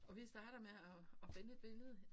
Og vi starter med at at finde et billede